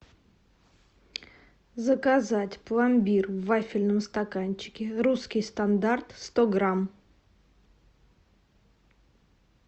заказать пломбир в вафельном стаканчике русский стандарт сто грамм